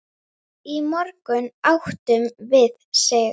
Í morgun áttum við Sig.